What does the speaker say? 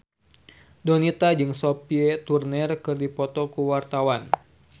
Donita jeung Sophie Turner keur dipoto ku wartawan